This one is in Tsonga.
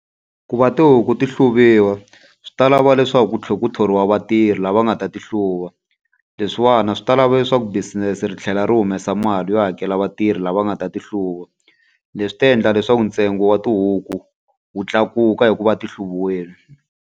Ku va tihuku ti hluviwa swi ta lava leswaku ku tlhela ku thoriwa vatirhi lava nga ta ti hluva. Leswiwani swi ta lava leswaku business-e ri tlhela ri humesa mali yo hakela vatirhi lava nga ta ti hluva. Leswi ta endla leswaku ntsengo wa tihuku wu tlakuka hi ku va ti hluviwile.